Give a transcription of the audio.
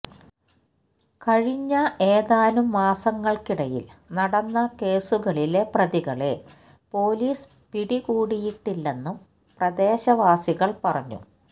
കഴിഞ്ഞ ഏതാനുമാസങ്ങള്ക്കിടയില് നടന്ന കേസുകളിലെ പ്രതികളെ പോലീസ് പടികൂടിയിട്ടില്ലെന്നും പ്രദേശവാസികള് പറഞ്ഞു